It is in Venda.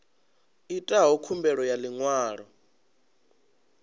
itaho khumbelo ya ḽi ṅwalo